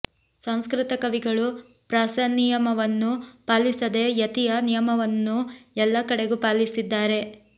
ಸಂಸ್ಕೃತ ಕವಿಗಳು ಪ್ರಾಸನಿಯಮವನ್ನು ಪಾಲಿಸದೆ ಯತಿಯ ನಿಯಮವನ್ನು ಎಲ್ಲ ಕಡೆಗೂ ಪಾಲಿಸಿದ್ದಾರೆ